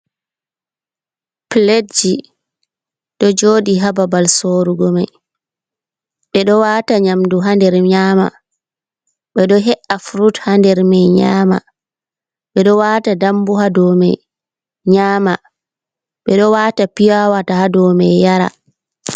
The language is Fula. Piletji, ɗo joɗi ha babal sorrugo mai, ɓe ɗo wata nyamdu ha nder nyama, ɓe ɗo he’a furut ha nder mai nyama, ɓe ɗo wata dambu ha dau mai nyama, ɓe ɗo wata piyawata ha dau ,mai yara.